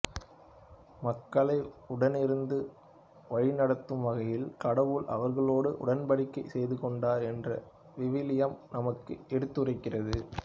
மக்களை உடனிருந்து வழிநடத்தும் வகையில் கடவுள் அவர்களோடு உடன்படிக்கை செய்துகொண்டார் என்று விவிலியம் நமக்கு எடுத்துரைக்கிறது